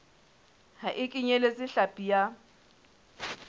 ha e kenyeletse hlapi ya